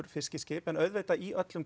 fiskiskip en auðvitað í öllum